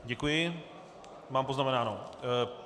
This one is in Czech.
Děkuji, mám poznamenáno.